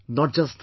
Not just this